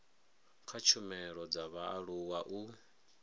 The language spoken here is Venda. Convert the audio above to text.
kha tshumelo dza vhaaluwa u